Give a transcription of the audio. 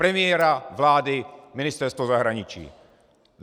Premiéra, vlády, Ministerstvo zahraničí.